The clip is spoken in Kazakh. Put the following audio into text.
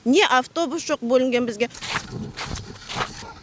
не автобус жоқ бөлінген бізге